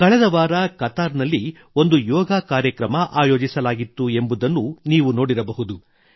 ಕಳೆದ ವಾರ ಕತಾರ್ ನಲ್ಲಿ ಒಂದು ಯೋಗಾ ಕಾರ್ಯಕ್ರಮ ಆಯೋಜಿಸಲಾಗಿತ್ತು ಎಂಬುದನ್ನು ನೀವು ನೋಡಿರಬಹುದು